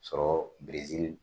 Sɔrɔ Brezili.